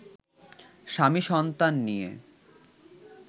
স্বামী-সন্তান নিয়ে